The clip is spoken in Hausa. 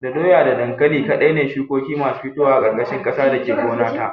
Da doya da dankali kaɗai ne shukoki masu fitowa a ƙarƙashin ƙasa da ke gona ta